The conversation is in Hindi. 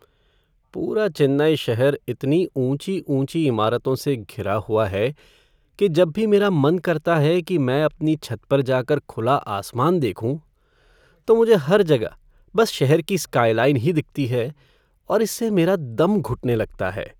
पूरा चेन्नई शहर इतनी ऊँची ऊँची इमारतों से घिरा हुआ है कि जब भी मेरा मन करता है कि मैं अपनी छत पर जाकर खुला आसमान देखूँ, तो मुझे हर जगह बस शहर की स्काइलाइन ही दिखती है और इससे मेरे दम घुटने लगता है।